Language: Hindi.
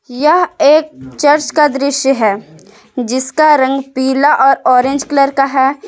यह एक चर्च का दृश्य है जिसका रंग पीला और ऑरेंज कलर का है।